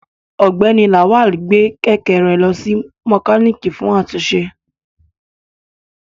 Ọgbẹni Lawal gbe kẹ̀kẹ́ rẹ lọ si mokaniki fun atunṣe